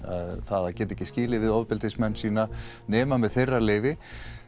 að geta ekki skilið við ofbeldismenn sína nema með þeirra leyfi